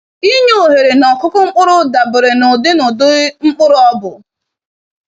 Inye oghere nọkụkụ mkpụrụ dabere na ụdị na ụdị mkpụrụ ọbụ.